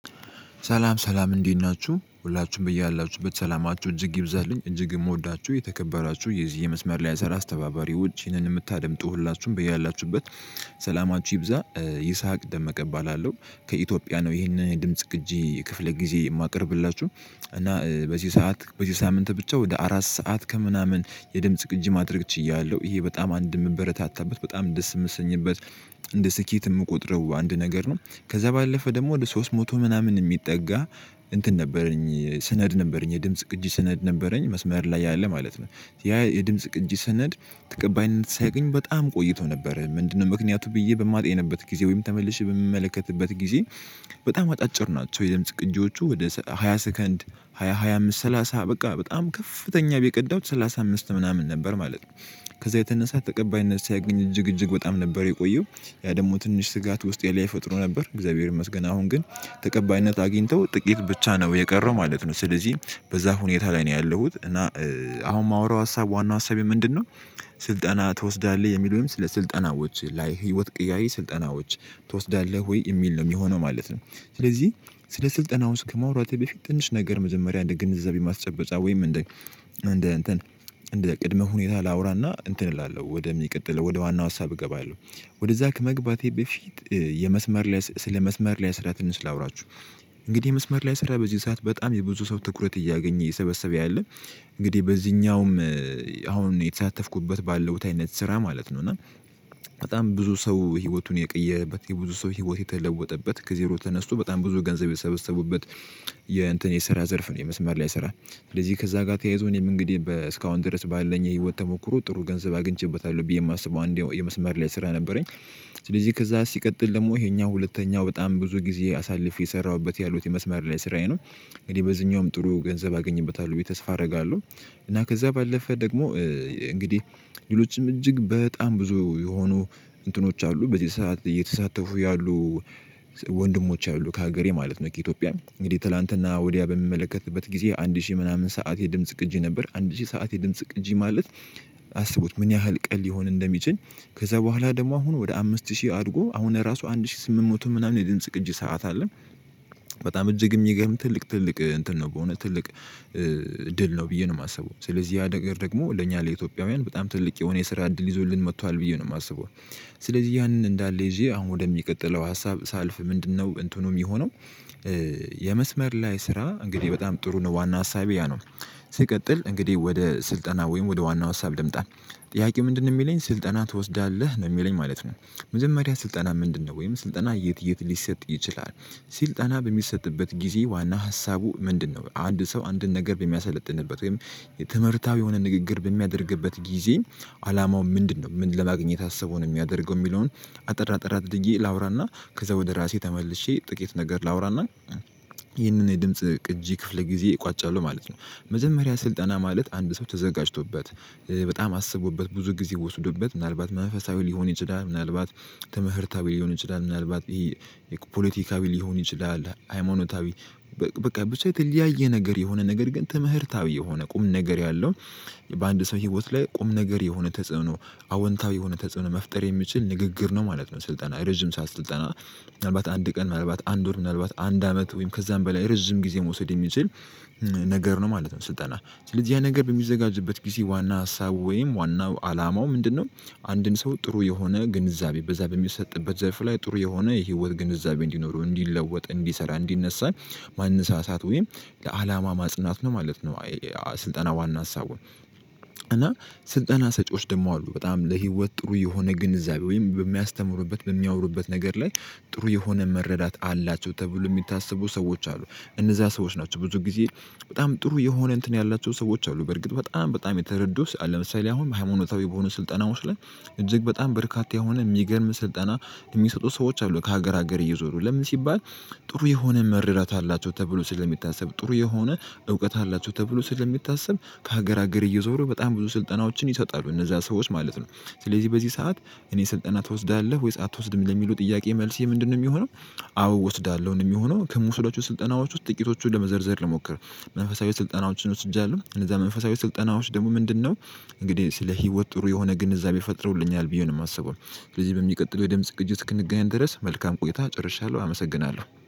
ሰላም ሰላም እንዴት ናችሁ ሁላችሁም በያላችሁበት ሰላማችሁ እጅግ ይብዛልኝ እጅግ የምወዳችሁ የተከበራችሁ የዚህ የመስመር ላይ የሰራ አስተባባሪዎች ይህንን የምታደምጡ ሁላችሁም በያላችሁበት። ሰላማችሁ ይብዛ ይስሐቅ ደመቀ እባላለሁ ከኢትዮጵያ ነው ይሄንን ድምጽ ቅጂ ክፍለ ጊዜ የማቀርብላችሁ። እና በዚህ ሰዓት በዚህ ሳምንት ብቻ ወደ አራት ሰዓት ከምናምን የድምጽ ቅጅ አድርግ ችያለሁ ይሄ በጣም አንድ የምበረታታበት በጣም ደስ የምሰኝበት። እንደ ስኬት የምቆጥረው አንድ ነገር ነው። ከዛ ባለፈ ደግሞ ወደ ሶስት መቶ ምናምን የሚጠጋ እንትን ነበረኝ ስነድ ነበረኝ የድምጽ ቅጂ ስነድ ነበረኝ መስመር ላይ ያለ ማለት ነው። ያ የድምጽ ቅጂ ሰነድ ተቀባይነት ሳያገኝ በጣም ቆይቶ ነበር። ምንድነው? ምክንያቱ ብዬ በማጤንበት ጊዜ ወይም ተመልሼ በምመለከትበት ጊዜ። በጣም አጫጭር ናቸው። የድምጽ ቅጅዎቹ ወደ ሃያ ሰከንድ ሃያ ሃያ አምስት ሰላሳ በቃ በጣም ከፍተኛ ብየ የቀዳሁት ሰላሳ አምስት ምናምን ነበር ማለት ነው። ከዛ የተነሳ ተቀባይነት ሳያገኝ እጅግ እጅግ በጣም ነበር የቆየው። ያ ደግሞ ትንሽ ስጋት ውስጥ ላይ ፈጥሮ ነበር እግዚአብሔር ይመስገን አሁን ግን። ተቀባይነት አግኝተው ጥቂት ብቻ ነው የቀረው ማለት ነው። ስለዚህ በዛ ሁኔታ ላይ ነው ያለሁት እና። አሁን የማወራው ሀሳብ ዋና ሀሳቤ ምንድነው? ስልጠና ትወስዳለህ የሚለውንም ወይም ስለ ስልጠናዎች ላይ ህይወት ቀያሪ ስልጠናዎች ትወስዳለህ ወይ የሚል ነው የሚሆነው ማለት ነው። ስለዚህ ስለ ስልጠናው ከማውራቴ በፊት ትንሽ ነገር መጀመሪያ እንደ ግንዛቤ ማስጨበጫ ወይም እንደ እንደ እንትን እንደ ቅድመ ሁኔታ ላውራና እንትን እላለሁ ወደ ሚቀጥለው ወደ ዋናው ሀሳብ እገባለሁ። ወደዛ ከመግባቴ በፊት የመስመር ላይ ስለ መስመር ላይ ስራ ትንሽ ላውራችሁ። እንግዲህ መስመር ላይ ስራ በዚህ ሰዓት በጣም የብዙ ሰው ትኩረት እያገኘ እየሰበሰበ ያለ። እንግዲህ በዚህኛውም አሁን የተሳተፍኩበት ባለው አይነት ስራ ማለት ነው እና በጣም ብዙ ሰው ህይወቱን የቀየረበት የብዙ ሰው ህይወት የተለወጠበት ከዜሮ ተነስቶ በጣም ብዙ ገንዘብ የሰበሰቡበት። የሰራ ዘርፍ ነው የመስማር ላይ ይሰራል። ስለዚህ ከዛ ጋር ተያይዞ እኔም እንግዲህ እስካሁን ድረስ ባለኝ የህይወት ተሞክሮ ጥሩ ገንዘብ አግኝቼበታለሁ ብዬ የማስበው አንዴ የመስመር ላይ ስራ ነበረኝ። ስለዚህ ከዛ ሲቀጥል ደግሞ ይሔኛው ሁለተኛው በጣም ብዙ ጊዜ አሳልፌ የሰራሁበት ያሉት የመስመር ላይ ስራዬ ነው። እንግዲህ በዚህኛውም ጥሩ ገንዘብ አገኝበታለሁ ብዬ ተስፋ አደርጋለሁ። እና ከዛ ባለፈ ደግሞ እንግዲህ ሌሎችም እጅግ በጣም ብዙ የሆኑ እንትኖች አሉ በዚህ ሰዓት እየተሳተፉ ያሉ። ወንድሞች ያሉ ከሀገሬ ማለት ነው ከኢትዮጵያም እንግዲህ ትላንትና ወዲያ በምመለከትበት ጊዜ አንድ ሺህ ምናምን ሰዓት የድምጽ ቅጂ ነበር። አንድ ሺህ ሰዓት የድምጽ ቅጂ ማለት አስቡት ምን ያህል ቀል ሊሆን እንደሚችል? ከዛ በኋላ ደግሞ አሁን ወደ አምስት ሺህ አድጎ አሁን ራሱ አንድ ሺህ ስምንት መቶ ምናምን የድንጽ ቅጂ ሰዓት አለን። በጣም እጅግ የሚገርም ትልቅ ትልቅ እንትን ነው። በሆነ ትልቅ ድል ነው ብዬ ነው የማስበው ስለዚህ ያ ነገር ደግሞ ለእኛ ለኢትዮጵያውያን በጣም ትልቅ የሆነ የስራ እድል ይዞልን መጥቷል ብዬ ነው የማስበው። ስለዚህ ያንን እንዳለ ይዤ አሁን ወደሚቀጥለው ሀሳብ ሳልፍ ምንድነው እንትኑ የሚሆነው? የመስመር ላይ ስራ እንግዲህ በጣም ጥሩ ነው ዋና ሀሳቤ ያ ነው። እንግዲህ ወደ ስልጠና ወይም ወደ ዋና ሀሳብ ልምጣ። ጥያቄ ምንድነው የሚለኝ ስልጠና ትወስዳለህ ነው የሚለኝ ማለት ነው። መጀመሪያ ስልጠና ምንድነው ወይም ስልጠና የት የት ሊሰጥ ይችላል? ስልጠና በሚሰጥበት ጊዜ ዋና ሀሳቡ ምንድነው? አንድ ሰው አንድን ነገር በሚያሰለጥንበት ወይም የትምህርታዊ የሆነ ንግግር በሚያደርግበት ጊዜ አላማው ምንድነው ምን ለማግኘት አሰበው ነው የሚያደርገው የሚለውን? አጠር አጠር አድርጌ ላውራና ከዛ ወደ ራሴ ተመልሼ ጥቂት ነገር ላወራና። ይህንን የድምጽ እጅ ክፍል ጊዜ እቋጫለሁ ማለት ነው። መዘመሪያ ስልጠና ማለት አንድ ሰው ተዘጋጅቶበት በጣም አስቦበት ብዙ ጊዜ ወስዶበት ምናልባት መንፈሳዊ ሊሆን ይችላል። ምናልባት ትምህርታዊ ሊሆን ይችላል። ምናልባት ይሄ የፖለቲካ ሊሆን ይችላል። ሃይማኖታዊ በቃ ብዙ የተለያየ ነገር የሆነ ነገር ግን ትምህርታዊ የሆነ ቁም ነገር ያለው። በአንድ ሰው ህይወት ላይ ቁም ነገር የሆነ ተጽዕኖ አወንታዊ የሆነ ተጽዕኖ መፍጠር የሚችል ንግግር ነው ማለት ነው። ስልጠና ረጅም ሰዓት ስልጠና ምናልባት አንድ ቀን ምናልባት አንድ ወር ምናልባት አንድ አመት ወይም ከዛም በላይ ረዥም ጊዜ መውሰድ የሚችል። ነገር ነው ማለት ነው። ስልጠና ስለዚህ ያ ነገር በሚዘጋጅበት ጊዜ ዋና ሀሳቡ ወይም ዋናው አላማው ምንድነው? አንድን ሰው ጥሩ የሆነ ግንዛቤ በዛ በሚሰጥበት ዘርፍ ላይ ጥሩ የሆነ የህይወት ግንዛቤ እንዲኖረው እንዲለወጥ እንዲሰራ እንዲነሳን። ማንሳሳት ወይም ለአላማ ማጽናት ምን ማለት ነው? ስልጠና ዋና ሀሳቡን። እና ስልጠና ሰጪዎች ደግሞ አሉ በጣም ለህይወት ጥሩ የሆነ ግንዛቤ ወይም በሚያስተምሩበት በሚያወሩበት ነገር ላይ። ጥሩ የሆነ መረዳት አላቸው ተብሎ የሚታሰቡ ሰዎች አሉ። እነዛ ሰዎች ናቸው ብዙ ጊዜ በጣም ጥሩ የሆነ እንትን ያላቸው ሰዎች አሉ። በርግጥ በጣም በጣም የተረዱ ለምሳሌ አሁን ሃይማኖታዊ በሆነ ስልጠና ውስጥ እጅግ በጣም በርካታ የሆነ የሚገርም ስልጠና የሚሰጡ ሰዎች አሉ ከሀገር ሀገር እየዞሩ ለምን ሲባል? ጥሩ የሆነ መረዳት አላቸው ተብሎ ስለሚታሰብ ጥሩ የሆነ እውቀት አላቸው ተብሎ ስለሚታሰብ ከሀገር ሀገር እየዞሩ በጣም ብዙ ስልጠናዎችን ይሰጣሉ እነዛ ሰዎች ማለት ነው። ስለዚህ በዚህ ሰዓት እኔ ስልጠና ትወስዳለህ ወይስ አትወስድም የሚሉ ጥያቄ መልስ የምንድነው የሚሆነው? አዎ እወስዳለሁ ነው የሚሆነው ከምውሰዳቸው ስልጠናዎች ውስጥ ጥቂቶቹን ለመዘርዘር ልሞክር። መንፈሳዊ ስልጠናዎችን ወስጃለሁ እነዛ መንፈሳዊ ስልጠናዎች ደግሞ ምንድነው? እንግዲህ ስለ ህይወት ጥሩ የሆነ ግንዛቤ ፈጥሮልኛል ብዬ ነው የማስበው። ስለዚህ በሚቀጥለው የድምጽ ቅጅ እንስክንገናኝ ድረስ መልካም ቆይታ ጨርሻለሁ አመሰግናለሁ።